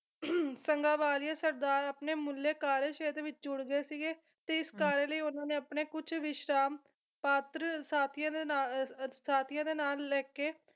ਸੰਧਾਂਵਾਲੀਆ ਸਰਦਾਰ ਆਪਣੇ ਮੁੱਢਲੇ ਕਾਰਜ ਸ਼ੇਤਰ ਵਿੱਚ ਜੁੜ ਗਏ ਸੀਗੇ ਤੇ ਇਸ ਕਾਰਜ ਲਈ ਉਹਨਾਂ ਨੇ ਆਪਣੇ ਕੁਛ ਵਿਸ਼ਵਾਸ ਪਾਤਰ ਸਾਥੀਆਂ ਦੇ ਨਾ ਸਾਥੀਆਂ ਦੇ ਨਾਂ ਲਿਖਕੇ